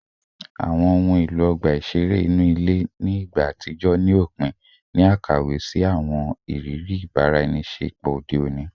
Awọn ohun elo ọgba iṣere inu ile ni igba atijọ ni opin ni akawe si awọn iriri ibaraenisepo ode oni